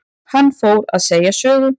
Hann fór að segja sögu.